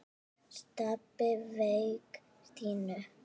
Stebbi sveik Stínu.